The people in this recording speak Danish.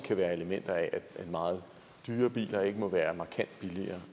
være elementer af at meget dyre biler ikke må være markant billigere